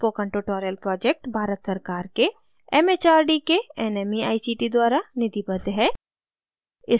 spoken tutorial project Bharat सरकार के mhrd के nmeict द्वारा निधिबद्ध है